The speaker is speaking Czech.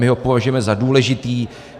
My ho považujeme za důležitý.